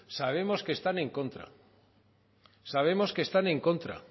sabemos que están en contra sabemos que están en contra